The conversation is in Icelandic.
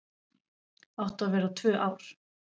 Áttu að vera tvö ár